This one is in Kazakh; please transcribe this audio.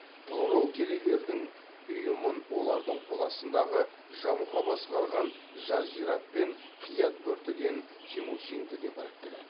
тұғырыл керейлердің ұйымын олардың қол астындағы жамұха басқарған жаржират пен қиат бөр тіген темучинді де біріктіреді